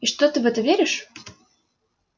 и что ты в это веришь